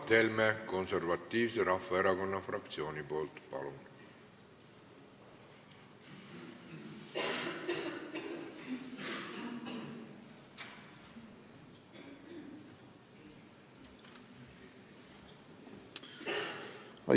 Mart Helme Konservatiivse Rahvaerakonna fraktsiooni nimel, palun!